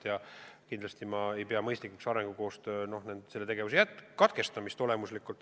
Ma kindlasti ei pea mõistlikuks arengukoostöö katkestamist.